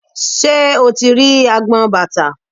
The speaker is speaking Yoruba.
Ṣé o ti rí agbọn bàtà?